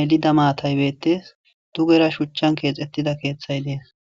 melida maatay beettees, dugera shuchchan keexettida keeththay beettees.